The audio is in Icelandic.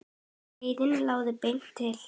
Leiðin lá beint til